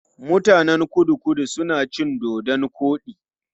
Mutanen Kudu-Kudu suna cin dodon koɗi.